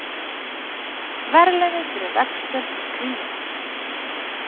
Verðlaunuð fyrir veggspjald um kríuna